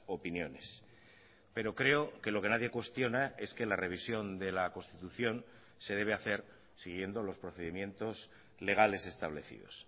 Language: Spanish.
opiniones pero creo que lo que nadie cuestiona es que la revisión de la constitución se debe hacer siguiendo los procedimientos legales establecidos